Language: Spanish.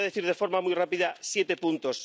Y les voy a decir de forma muy rápida siete puntos.